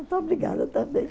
Muito obrigada também.